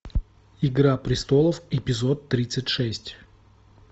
игра престолов эпизод тридцать шесть